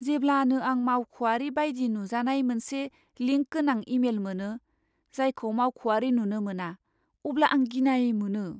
जेब्लानो आं मावख'आरि बायदि नुजानाय मोनसे लिंक गोनां इमेल मोनो, जायखौ मावख'आरि नुनो मोना, अब्ला आं गिनाय मोनो।